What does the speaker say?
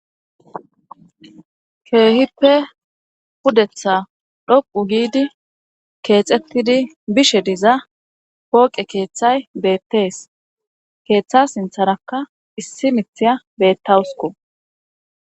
keehippe pudetha dhoqu giidi keexettidi bishe diza pooqe keeththay beettees keeththa sintharakka issi mithiya bettawusko